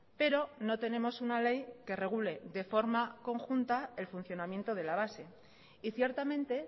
pero no tenemos una ley que regule de forma conjunta el funcionamiento de la base y ciertamente